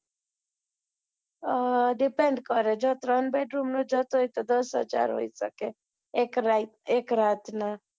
અ depend કરે જો ત્રણ bedroom નો જાત હોય તો દસ હજાર હોઈ સકે એક રાત ના